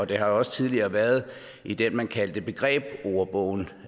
det har jo også tidligere været i det man kaldte begrebsordbogen